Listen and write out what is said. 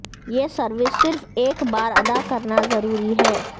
یہ سروس صرف ایک بار ادا کرنا ضروری ہے